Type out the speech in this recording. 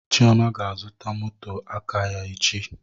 Chioma ga azụta moto aka ya echi